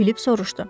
Filip soruşdu.